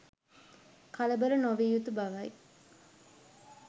කලබල නො විය යුතු බවයි.